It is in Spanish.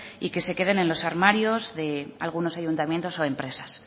y que se queden en los armarios de algunos ayuntamientos o empresas